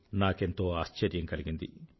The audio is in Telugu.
నాకెంతో ఆశ్చర్యం కలిగింది